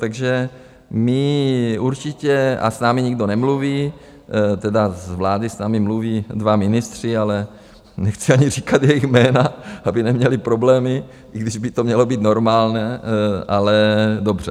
Takže my určitě - a s námi nikdo nemluví - tedy z vlády s námi mluví dva ministři, ale nechci ani říkat jejich jména, aby neměli problémy, i když by to mělo být normální, ale dobře.